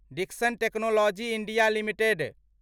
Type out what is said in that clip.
Dixon Technologies India limited